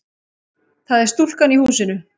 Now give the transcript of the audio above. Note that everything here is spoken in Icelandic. Það er stúlkan í húsinu.